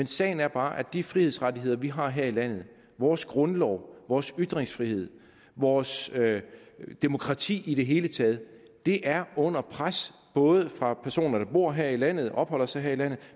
sagen er bare at de frihedsrettigheder vi har her i landet vores grundlov vores ytringsfrihed vores demokrati i det hele taget er under pres både fra personer der bor her i landet der opholder sig her i landet